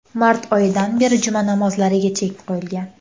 Mart oyidan beri juma namozlariga chek qo‘yilgan .